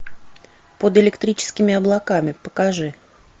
под электрическими облаками покажи